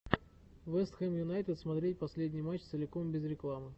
вест хэм юнайтед смотреть последний матч целиком без рекламы